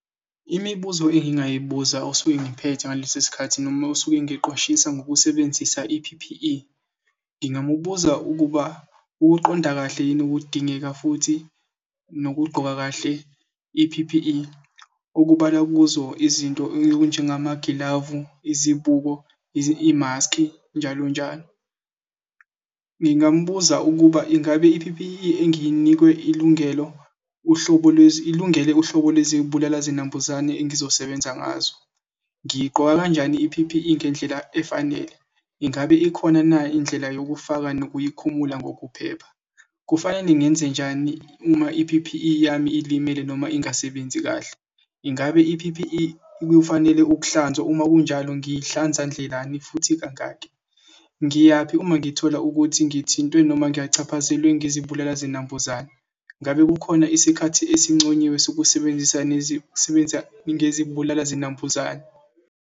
Imibuzo engingayibuza osuke ngiphethe ngaleso sikhathi noma osuke engiqwashisa ngokusebenzisa i-P_P_E ngingamubuza ukuba ukuqonda kahle yini ukudingeka futhi nokugqoka kahle i-P_P_E okubalwa kuzo izinto ey'njengomagilavu, izibuko, imaski njalonjalo. Ngingambuza ukuba ingabe i-P_P_E nginikwe ilungelo uhlobo ilungele uhlobo kwezibulala zinambuzane engizosebenza ngazo. Ngiyiqoka kanjani i-P_P_E ngendlela efanele? Ingabe ikhona na indlela yokufaka nokuyikhumula ngokuphepha? Kufanele ngenzenjani uma i-P_P_E yami ilimele noma ingasebenzi kahle? Ingabe i-P_P_E kufanele ukuhlanzwa uma kunjalo, ngihlanza ndlelani futhi kangaki? Ngiyaphi uma ngithola ukuthi ngithintwe noma ngiyachaphazelwe ngezibulala zinambuzane? Ngabe kukhona isikhathi esinconyiwe sokusebenzisa sebenza ngezibulala zinambuzane.